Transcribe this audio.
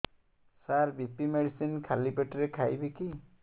ସାର BP medicine ଖାଲି ପେଟରେ ଖାଇବି କି